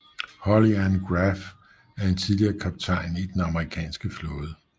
Holly Ann Graf er en tidligere kaptajn i Den amerikanske flåde